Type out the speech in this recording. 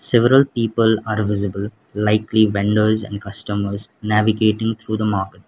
several people are visible likely vendors and customers navigating through the market.